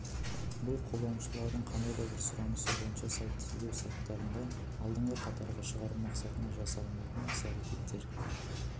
бұл қолданушылардың қандай да бір сұранысы бойынша сайтты іздеу сайттарында алдыңғы қатарға шығару мақсатында жасалынатын іс-әрекеттер